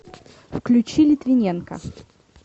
включи литвиненка